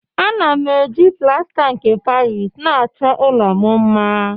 Ana m eji plasta nke paris na-achọ ụlọ m mma